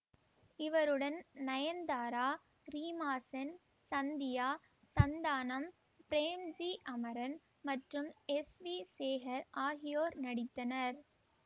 இவருடன் நயன்தாரா ரீமா சென் சந்தியா சந்தானம் பிரேம்ஜி அமரன் மற்றும் எஸ்வி சேகர் ஆகியோர் நடித்தனர்